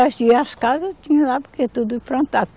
As casas tinha lá porque é tudo plantar.